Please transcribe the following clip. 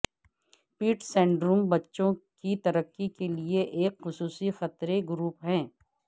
پیٹ syndrome بچوں کی ترقی کے لئے ایک خصوصی خطرے گروپ ہیں